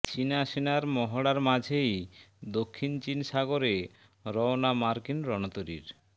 চিনা সেনার মহড়ার মাঝেই দক্ষিণ চিন সাগরে রওনা মার্কিন রণতরীর